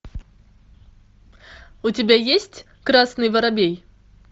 у тебя есть красный воробей